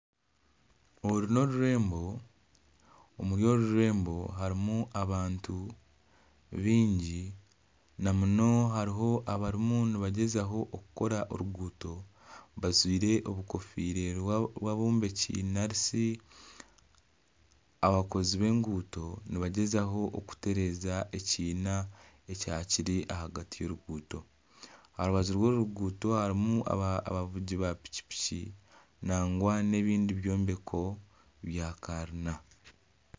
Oru n'orurembo omuri orururembo harimu abantu baingi na munonga harimu abariyo nibagyezaho kukora oruguuto bajwaire obukofiire bwabombeki narishi abakozi b'enguuto nibagyezaho kutereeza ekiina ekyakiri ahagati yoruguuto aha rubaju rw'oruguuto harimu abavugi ba piki nangwa nebindi byombeko bya kanyina